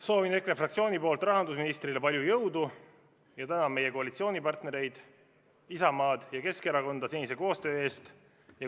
Soovin EKRE fraktsiooni nimel rahandusministrile palju jõudu ja tänan meie koalitsioonipartnereid Isamaad ja Keskerakonda senise koostöö eest.